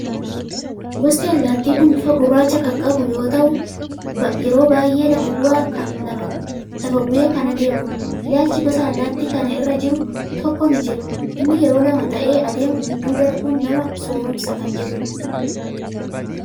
Gosti allaattii kun bifa gurraacha kan qabu, yeroo baay'ee lafa bu'ee kan adeemudha. Ilaalchi gosa allaattii kana irra jiru tokko ni jira. Innis "Yeroo lama ta'ee adeemu gidduu darbuun nama sooromsa" kan jedhudha.